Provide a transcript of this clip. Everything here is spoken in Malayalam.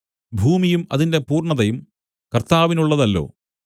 ഭൂമിയും അതിന്റെ പൂർണ്ണതയും കർത്താവിനുള്ളതല്ലോ